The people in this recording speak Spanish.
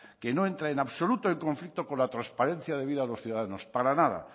que no entra en absoluto en conflicto con la transparencia debida a los ciudadanos para nada